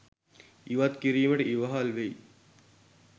ඉවත් කිරීමට ඉවහල් වෙයි.